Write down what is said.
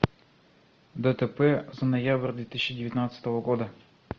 дтп за ноябрь две тысячи девятнадцатого года